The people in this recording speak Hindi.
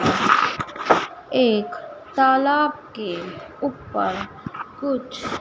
एक तालाब के ऊपर कुछ--